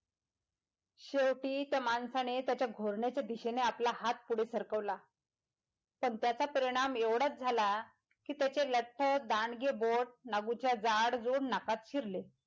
शेवटी त्या माणसाने त्याच्या घोरण्याच्या दिशेने आपला हात पुठे सरकवला तर त्याचा परिणाम एवढाच झाला कि त्याचे लठ् दांडगे बोट नागूच्या जाडजूड नाकात शिरले,